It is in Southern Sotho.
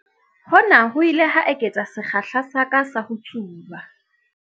Hona ho ile ha eketsa sekgahla sa ka sa ho tsuba.